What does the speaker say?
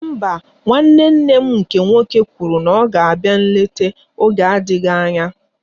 Mba, nwanne nne m nke nwoke kwụrụ na ọ ga-abịa nlete oge na-adịghị anya